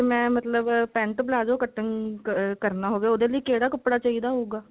ਫੇਰ ਮੈਂ ਮਤਲਬ pent palazzo ਕੱਟਣ ਕਰਨਾ ਹੋਵੇ ਉਹਦੇ ਲਈ ਕਿਹੜਾ ਕੱਪੜਾ ਚਾਹਿਦਾ ਹੋਊਗਾ